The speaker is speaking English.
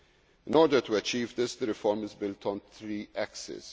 In order to achieve this, the reform is built on three axes.